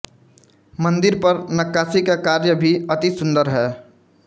मन्दिर पर नक्काशी का कार्य भी अति सुन्दर है